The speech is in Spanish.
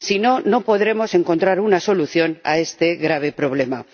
si no, no podremos encontrar una solución a este grave problema.